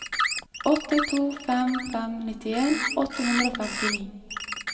åtte to fem fem nittien åtte hundre og femtini